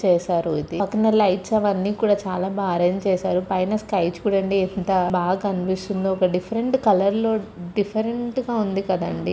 చేసారు. ఇది పక్కన లైట్స్ అవన్నీ కూడ చాల బా ఆరెంజ్ చేసారు. పైన స్కై చుడండి ఎంత బా కనిపిస్తుందొ. ఒక డిఫరెంట్ కలర్ లో డిఫరెంటుగా ఉంది కాదండి.